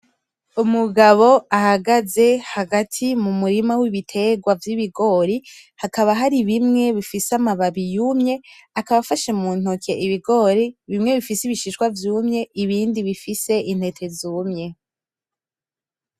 Umugabo ahagaze hagati mu murima w'ibitegwa vy'ibigori hakaba hari ibimwe bifise amababi yumye, akaba afashe mu ntoki ibigori bimwe bifise ibishishwa vyumye ibindi bifise intete zumye.